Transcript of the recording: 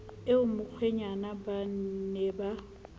eo mokgwenyana ba ne ba